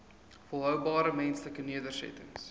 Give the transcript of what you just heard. volhoubare menslike nedersettings